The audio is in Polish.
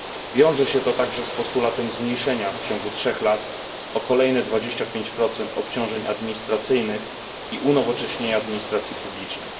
Wiąże się to także z postulatem zmniejszenia w ciągu trzech lat o kolejne 25 obciążeń administracyjnych i unowocześnienia administracji publicznej.